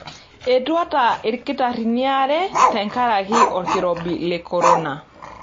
Etuata ilkitarrini aare tenkaraki olkirobi le corona.